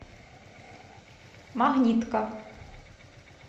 магнитка